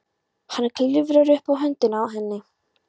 Hann klifrar upp á höndina á henni.